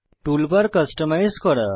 toolbar customise করা